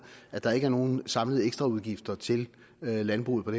at der ikke er nogen samlet ekstraudgift til landbruget på